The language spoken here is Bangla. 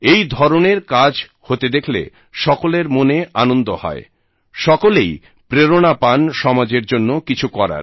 এই ধরণের কাজ হতে দেখলে সকলের মনে আনন্দ হয় সকলেই প্রেরণা পান সমাজের জন্য কিছু করার